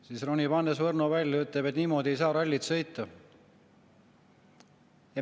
Siis ronib Hannes Võrno välja ja ütleb: "Niimoodi ei saa rallit sõita.